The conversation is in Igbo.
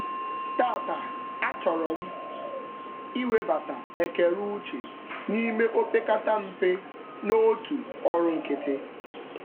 Taata, a chọrọ m iwebata ekereuche n'ime opekatampe n'otu ọrụ nkịtị.